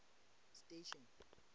station